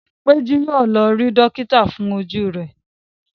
Peju yíò lọ rí dókítà fún Ojú rẹ.